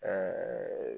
Ɛɛ